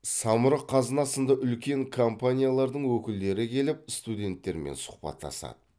самұрық қазына сынды үлкен компаниялардың өкілдері келіп студенттермен сұхбаттасады